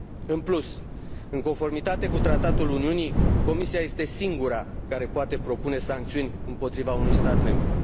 În plus, în conformitate cu Tratatul Uniunii, Comisia este singura care poate propune sancțiuni împotriva unui stat membru.